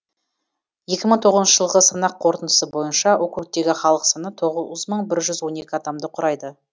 екі мың тоғызыншы жылғы санақ қорытындысы бойынша округтегі халық саны тоғыз мың бір жүз он екі адамды құрайды